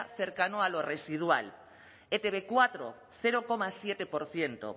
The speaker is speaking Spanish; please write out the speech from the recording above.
cercano a lo residual e te be cuatro cero coma siete por ciento